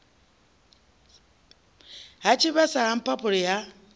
ha tshivhasa ha mphaphuli ha